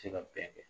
Se ka bɛn kɛ